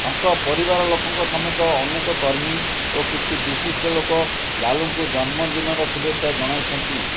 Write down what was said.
ତାଙ୍କ ପରିବାର ଲୋକଙ୍କ ସମେତ ଅନେକ କର୍ମୀ ଓ କିଛି ବିଶିଷ୍ଟ ଲୋକ ଲାଲୁଙ୍କୁ ଜନ୍ମଦିନର ଶୁଭେଛା ଜଣାଇଛନ୍ତି